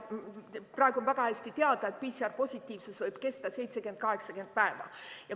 Praegu on väga hästi teada, et PCR-positiivsus võib kesta 70–80 päeva.